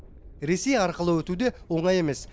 ресей арқылы өту де оңай емес